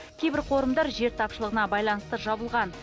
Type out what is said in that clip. кейбір қорымдар жер тапшылығына байланысты жабылған